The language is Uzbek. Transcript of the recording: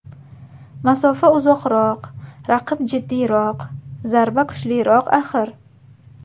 Masofa uzoqroq, raqib jiddiyroq, zarba kuchliroq, axir.